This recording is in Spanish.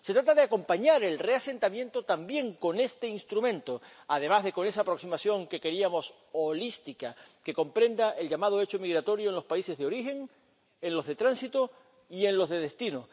de origen. Se trata de acompañar el reasentamiento también con este instrumento además de con esa aproximación, que queríamos holística, que comprenda el llamado hecho migratorio en los países de origen, en los de tránsito y en los de